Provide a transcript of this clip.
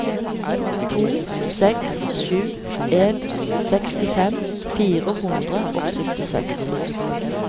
to seks sju en sekstifem fire hundre og syttiseks